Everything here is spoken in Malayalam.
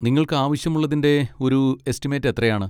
നിങ്ങൾക്കാവശ്യമുള്ളതിൻ്റെ ഒരു എസ്റ്റിമേറ്റ് എത്രയാണ്?